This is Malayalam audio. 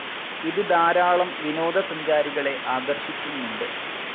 ഇത് ധാരാളം വിനോദസഞ്ചാരികളെ ആകർഷിക്കുന്നുണ്ട്.